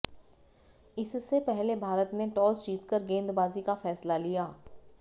इससे पहले भारत ने टाॅस जीतकर गेंदबाजी का फैसला लिया